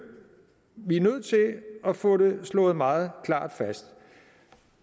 vi er nødt til at få det slået meget klart fast